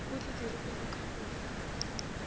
o di dirilego ka bowena